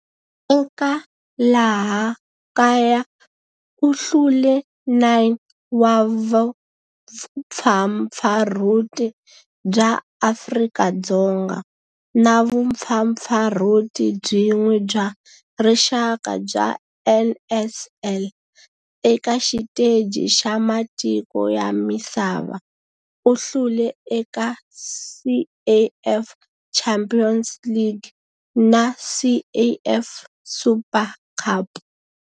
Eka laha kaya u hlule 9 wa vumpfampfarhuti bya Afrika-Dzonga na vumpfampfarhuti byin'we bya rixaka bya NSL. Eka xiteji xa matiko ya misava, u hlule eka CAF Champions League na CAF Super Cup.